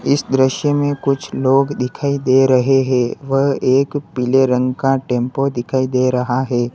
इस दृश्य में कुछ लोग दिखाई दे रहे है व एक पीले रंग का टेंपो दिखाई दे रहा है।